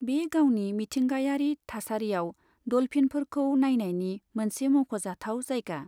बे गावनि मिथिंगायारि थासारियाव डल्फिनफोरखौ नायनायनि मोनसे मख'जाथाव जायगा।